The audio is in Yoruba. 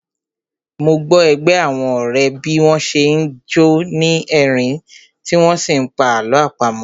Mo gbọ́ ẹgbẹ́ àwọn ọ̀rẹ́ bí wọ́n n ṣe jọ́ ni rí ẹ̀rín tí wọ́n n sí pa àlọ́ àpamọ́